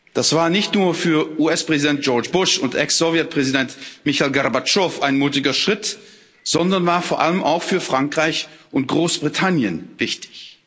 Das war nicht nur für US Präsident George Bush und Ex Sowjetpräsident Michail Gorbatschow ein mutiger Schritt, sondern war vor allem auch für Frankreich und Großbritannien wichtig.